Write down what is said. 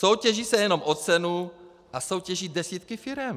Soutěží se jenom o cenu a soutěží desítky firem.